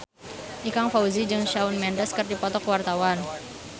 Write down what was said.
Ikang Fawzi jeung Shawn Mendes keur dipoto ku wartawan